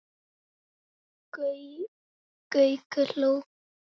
Gaukur hló.